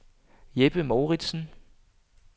Jeppe Mouritzen